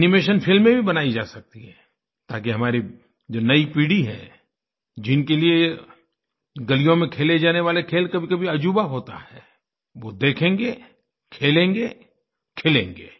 animation फ़िल्में भी बनाई जा सकती हैं ताकि हमारी जो नई पीढ़ी है जिनके लिए यह गलियों में खेले जाने वाले खेल कभीकभी अज़ूबा होता है वह देखेंगे खेलेंगे खिलेंगे